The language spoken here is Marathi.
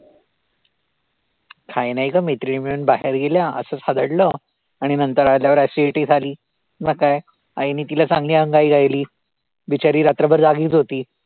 काही नाही गं मैत्रिणी मिळून बाहेर गेल्या असचं खादाडलं आणि नंतर आल्यावर acidity झाली, मग काय आईने तिला चांगली अंगाई गायली, बिचारी रात्रभर जागीच होती.